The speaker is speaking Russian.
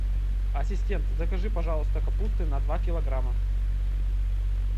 ассистент закажи пожалуйста капусты на два килограмма